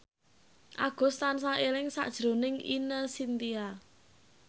Agus tansah eling sakjroning Ine Shintya